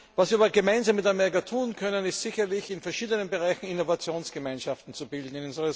Was wir aber gemeinsam mit Amerika tun können, ist sicherlich, in verschiedenen Bereichen Innovationsgemeinschaften zu bilden.